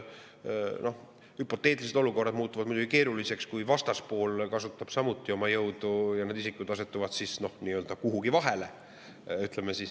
Hüpoteetilised olukorrad muutuvad muidugi keeruliseks, kui vastaspool kasutab samuti jõudu ja need isikud asetuvad nii‑öelda kuhugi vahele.